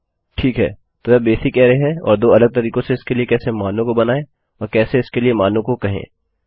ठीक है तो यह बेसिक अरै है और दो अलग तरीकों से इसके लिए कैसे मानों को बनायें और कैसे इसके लिए मानों को कहें